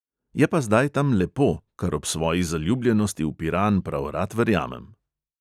Je pa zdaj tam lepo, kar ob svoji zaljubljenosti v piran prav rad verjamem.